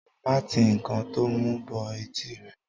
má ti ǹkan to mú bọ etí rẹ.